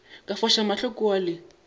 ka foša mahlo kua le